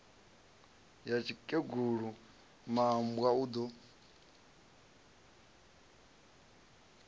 ya tsikegulu mmbwa u do